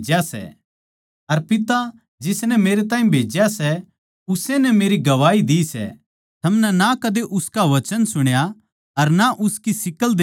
अर पिता जिसनै मेरैताहीं भेज्या सै उस्से नै मेरी गवाही दी सै थमनै ना कदे उसका वचन सुण्या अर ना उसकी शिक्ल देक्खी सै